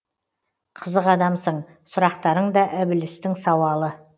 қызық адамсың сұрақтарың да ібілістің сауалы